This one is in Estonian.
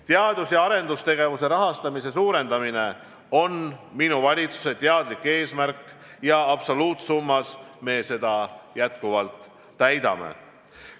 Teadus- ja arendustegevuse rahastamise suurendamine on minu valitsuse teadlik eesmärk ja absoluutsummas me seda täidame.